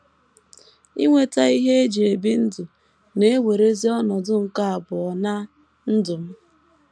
Inweta ihe e ji ebi ndụ na - ewerezi ọnọdụ nke abụọ ná ndụ m.